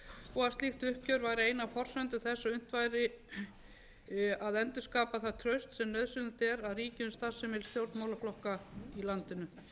og að slíkt uppgjör væri ein af forsendum þess að unnt væri að endurskapa það traust sem nauðsynlegt er að ríki um starfsemi stjórnmálaflokka í landinu